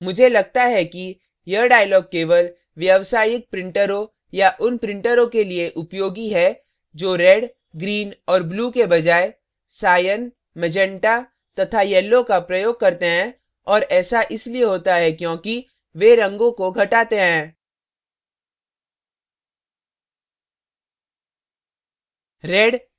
मुझे लगता है कि यह dialog केवल व्यावसायिक printers या उन printers के लिए उपयोगी है जो red red green green और blue blue के बजाय cyan cyan meganta magenta तथा yellow yellow का प्रयोग करते हैं और ऐसा इसलिए होता है क्योंकि वे रंगों को घटाते हैं